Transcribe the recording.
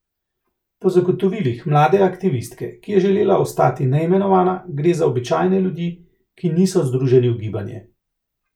Po zagotovilih mlade aktivistke, ki je želela ostati neimenovana, gre za običajne ljudi, ki niso združeni v gibanje.